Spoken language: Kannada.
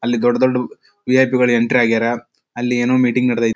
ಅಲ್ಲಿ ದೊಡ್ಡ್ ದೊಡ್ಡ್ ವಿ.ಐ.ಪಿ ಗಳು ಎಂಟರ್ ಆಗ್ಯಾರ ಅಲ್ಲಿ ಏನೋ ಮೀಟಿಂಗ್ ನಡೆದೈತ್.